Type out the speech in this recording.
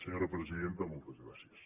senyora presidenta moltes gràcies